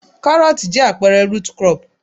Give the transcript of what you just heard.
Karooti jẹ́ àpẹẹrẹ root crop.